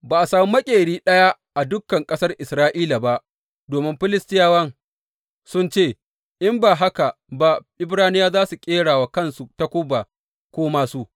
Ba a sami maƙeri ɗaya a dukan ƙasar Isra’ila ba domin Filistiyawa sun ce, In ba haka ba Ibraniyawa za su ƙera wa kansu takuba ko māsu.